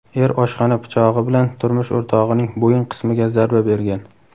er oshxona pichog‘i bilan turmush o‘rtog‘ining bo‘yin qismiga zarba bergan.